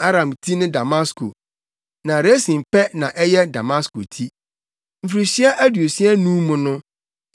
Aram ti ne Damasko, na Resin pɛ na ɛyɛ Damasko ti. Mfirihyia aduosia anum mu no Efraim mu bɛtetew koraa a ɛrentumi nnyɛ ɔman.